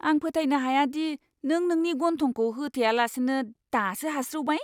आं फोथायनो हाया दि नों नोंनि गन्थंखौ होथेयालासिनो दासो हास्रिउबाय!